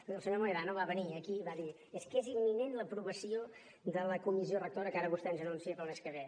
escolti el senyor mohedano va venir aquí i va dir és que és imminent l’aprovació de la comissió rectora que ara vostè ens anuncia per al mes que ve